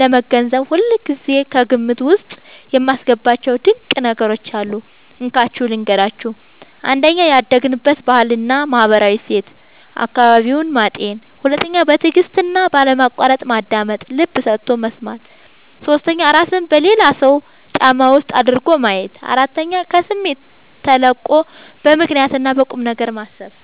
ለመገንዘብ ሁልጊዜ ከግምት ውስጥ የማስገባቸው ድንቅ ነገሮች አሉ፤ እንካችሁ ልንገራችሁ - 1. ያደገበትን ባህልና ማህበራዊ እሴት (አካባቢውን) ማጤን 2. በትዕግስትና ባለማቋረጥ ማዳመጥ (ልብ ሰጥቶ መስማት) 3. እራስን በሌላው ሰው ጫማ ውስጥ አድርጎ ማየት 4. ከስሜት ተላቆ በምክንያትና በቁምነገር ማሰብ